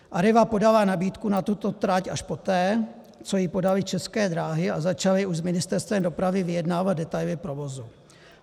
Arriva podala nabídku na tuto trať až poté, co ji podaly České dráhy a začaly už s Ministerstvem dopravy vyjednávat detaily provozu.